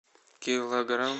килограмм